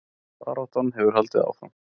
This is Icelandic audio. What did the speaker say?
Baráttan hefur haldið áfram